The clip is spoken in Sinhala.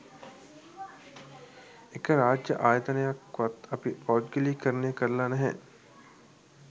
එක රාජ්‍ය ආයතනයක්වත් අපි පෞද්ගලීකරණය කරලා නැහැ